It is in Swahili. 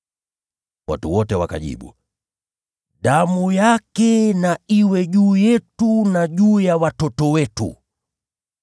Watu wote wakajibu, “Damu yake na iwe juu yetu na juu ya watoto wetu!”